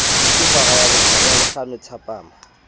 ke hora ya bohlano thapama